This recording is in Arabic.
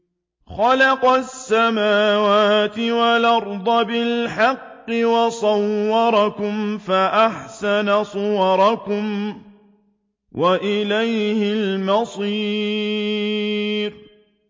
خَلَقَ السَّمَاوَاتِ وَالْأَرْضَ بِالْحَقِّ وَصَوَّرَكُمْ فَأَحْسَنَ صُوَرَكُمْ ۖ وَإِلَيْهِ الْمَصِيرُ